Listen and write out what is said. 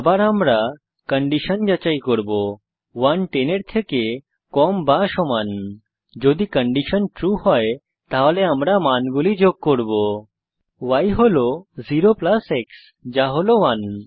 আবার আমরা কন্ডিশন যাচাই করব 1 10 এর থেকে কম বা সমান যদি কন্ডিশন ট্রু হয় তাহলে আমরা মানগুলি যোগ করব y হল 0 প্লাস x যা হল 1